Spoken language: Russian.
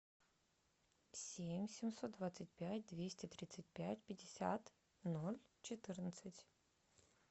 семь семьсот двадцать пять двести тридцать пять пятьдесят ноль четырнадцать